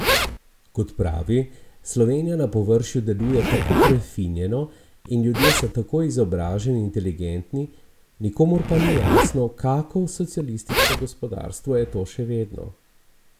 Kot pravi, Slovenija na površju deluje tako prefinjeno in ljudje so tako izobraženi in inteligentni, nikomur pa ni jasno, kako socialistično gospodarstvo je to še vedno.